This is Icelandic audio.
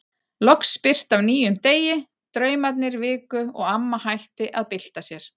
Loks birti af nýjum degi, draumarnir viku og amma hætti að bylta sér.